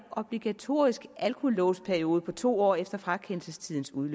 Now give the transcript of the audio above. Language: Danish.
obligatorisk alkolåsperiode på to år efter frakendelsestidspunkt